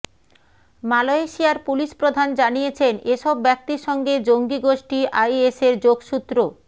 মালয়েশিয়ার পুলিশ প্রধান জানিয়েছেন এসব ব্যক্তির সঙ্গে জঙ্গি গোষ্ঠি আইএসের যোগসূত্র